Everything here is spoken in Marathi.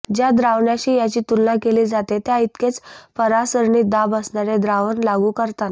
ज्या द्रावण्याशी याची तुलना केली जाते त्या इतकेच परासरणी दाब असणारे द्रावण लागू करताना